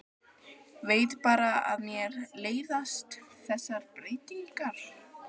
Veit bara að mér leiðast þessar breytingar.